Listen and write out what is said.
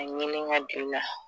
A ɲinin ka d'u la